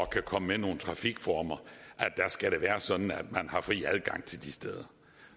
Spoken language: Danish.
komme med nogle trafikformer skal være sådan at man har fri adgang til de steder